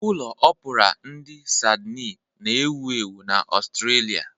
Ụlọ Opura ndi Sidni na-ewu ewu na Australia.